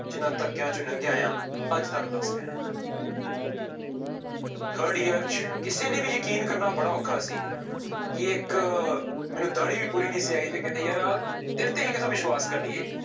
ਜਿਹਨਾਂ ਧੱਕਿਆਂ ਚੋਂ ਲੰਘਿਆ ਆਂ ਅੱਜ ਤੁਹਾਨੂੰ ਦੱਸ ਰਿਹਾਂ ਹਾਂ third year ਚ ਕਿਸੇ ਲਈ ਵੀ ਯਕੀਨ ਕਰਨਾ ਬੜਾ ਔਖਾ ਸੀ ਕਿ ਇੱਕ ਮੈਨੂੰ ਦਾੜੀ ਵੀ ਪੂਰੀ ਨਹੀਂ ਸੀ ਆਈ ਤੇ ਕਹਿੰਦੇ ਯਾਰ ਆਹ ਤੇਰੇ ਤੇ ਅਸੀਂ ਕਿੱਥੋਂ ਵਿਸ਼ਵਾਸ ਕਰ ਲਈਏ।